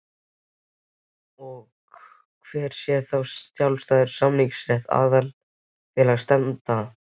Hver sé þá sjálfstæður samningsréttur aðildarfélaga stefnanda?